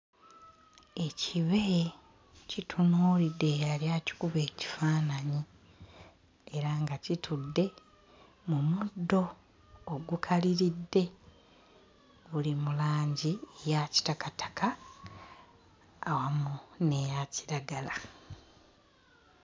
Ekibe kitunuulidde eyali akikuba ekifaananyi era nga kitudde mu muddo ogukaliridde guli mu langi ya kitakataka awamu n'eya kiragala.